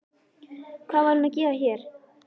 Hvað var hún að gera hér?